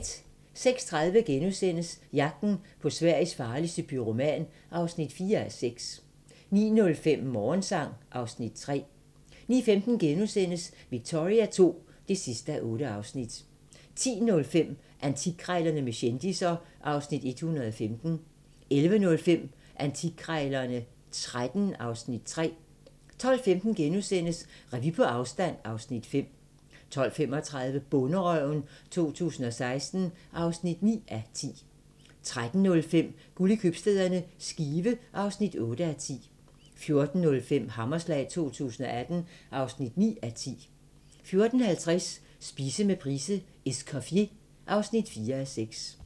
06:30: Jagten på Sveriges farligste pyroman (4:6)* 09:05: Morgensang (Afs. 3) 09:15: Victoria II (8:8)* 10:05: Antikkrejlerne med kendisser (Afs. 115) 11:05: Antikkrejlerne XIII (Afs. 3) 12:15: Revy på afstand (Afs. 5)* 12:35: Bonderøven 2016 (9:10) 13:05: Guld i købstæderne - Skive (8:10) 14:05: Hammerslag 2018 (9:10) 14:50: Spise med Price: "Escoffier" (4:6)